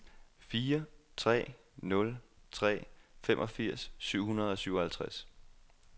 fire tre nul tre femogfirs syv hundrede og syvoghalvtreds